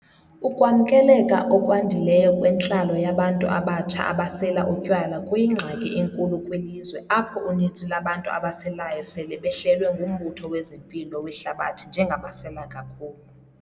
Ukwamkeleka okwandileyo kwentlalo yabantu abatsha abasela utywala kuyingxaki enkulu kwilizwe apho uninzi lwabantu abaselayo sele behlelwe nguMbutho wezeMpilo weHlabathi njengabasela kakhulu.